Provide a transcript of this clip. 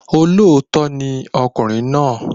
Olóòótọ́ ni ọkùnrin náà